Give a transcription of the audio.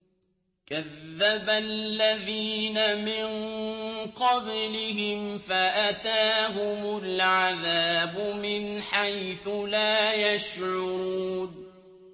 كَذَّبَ الَّذِينَ مِن قَبْلِهِمْ فَأَتَاهُمُ الْعَذَابُ مِنْ حَيْثُ لَا يَشْعُرُونَ